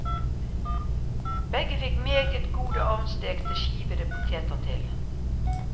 Begge fikk meget gode ovnstekte skivede poteter til.